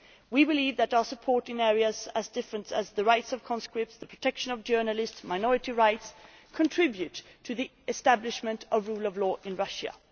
We believe that our support in areas as different as the rights of conscripts, the protection of journalists and minority rights contribute to the establishment of the rule of law in Russia.